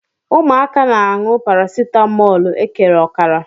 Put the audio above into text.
Ụmụaka na-anu paracetamóólú ekere ọkara.